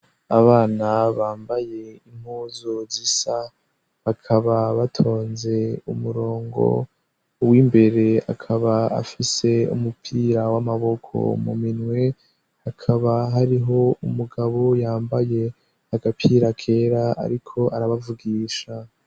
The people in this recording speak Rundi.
Abana bambaye impuzu zisa, bakaba batonze umurongo w'imbere, akaba afise umupira w'amaboko mu minwe, hakaba hariho umugabo yambaye agapira kera ariko arabavugisha.